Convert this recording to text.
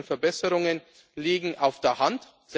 denken. Die technischen Verbesserungen liegen auf